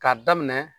K'a daminɛ